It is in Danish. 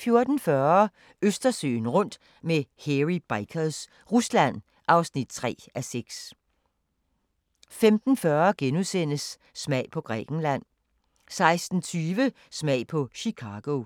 14:40: Østersøen rundt med Hairy Bikers – Rusland (3:6) 15:40: Smag på Grækenland * 16:20: Smag på Chicago